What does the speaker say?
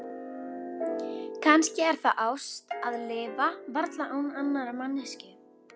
Kannski er það ást að lifa varla án annarrar manneskju.